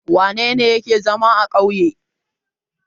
Wane ne yake zama a ƙauye?